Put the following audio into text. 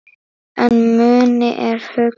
En muni er hugur.